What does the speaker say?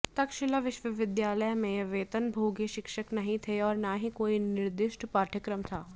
तक्षशिला विश्वविद्यालय में वेतनभोगी शिक्षक नहीं थे और न ही कोई निर्दिष्ट पाठयक्रम था